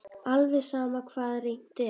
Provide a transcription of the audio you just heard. Alveg sama hvað reynt er.